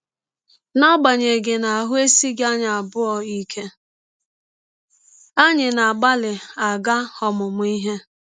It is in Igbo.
N’agbanyeghị na ahụ́ esighị anyị abụọ ike, anyị na - agbalị aga ọmụmụ ihe.